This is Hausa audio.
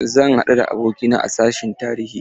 Zan haɗu da abokina a sashin tarihi.